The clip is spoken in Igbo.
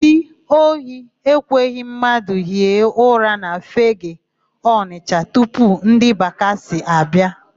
Ndị ohi ekweghị mmadụ hie ụra na Fegee, Ọnịsha tupu ndị bakasị abịa.